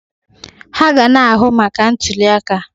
Ha ga na-ahụ maka ntuliaka.